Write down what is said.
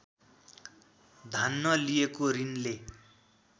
धान्न लिएको ऋणले